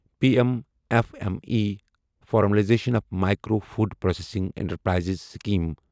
P M F M E formalisation of micro food processing enterprises scheme